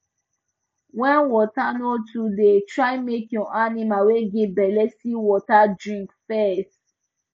when water no tooo dey try make your animals wey get belle see water drink fes